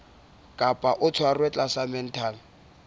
kapa o tshwerwe tlasa mental